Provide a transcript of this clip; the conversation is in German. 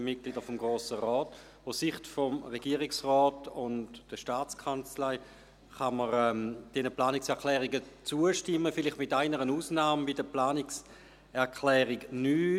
Aus Sicht des Regierungsrates und der STA kann man diesen Planungserklärungen zustimmen, vielleicht mit einer Ausnahme, nämlich der Planungserklärung 9.